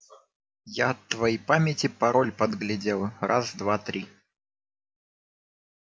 я от твоей памяти пароль подглядел раз два три